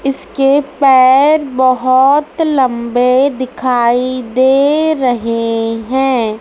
इसके पैर बहोत लंबे दिखाई दे रहे है।